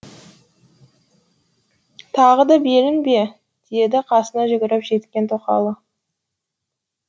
тағы да белің бе деді қасына жүгіріп жеткен тоқалы